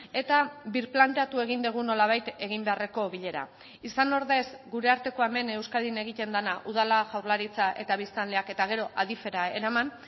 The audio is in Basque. eta birplanteatu egin dugu nolabait egin beharreko bilera izan ordez gure artekoa hemen euskadin egiten dena udala jaurlaritza eta biztanleak eta gero adif era eraman